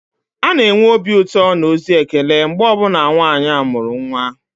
A na-enwe obi ụtọ na ozi ekele mgbe ọ bụla nwanyị amụrụ nwa